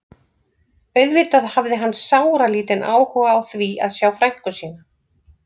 Auðvitað hafði hann sáralítinn áhuga á því að sjá frænku sína.